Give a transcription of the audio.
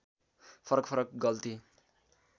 फरक फरक गल्ती